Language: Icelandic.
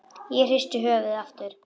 Ég hristi höfuðið aftur.